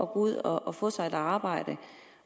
gå ud og få sig et arbejde